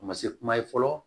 A ma se kuma ye fɔlɔ